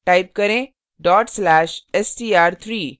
type करें dot slash/str3